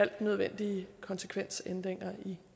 de nødvendige konsekvensændringer i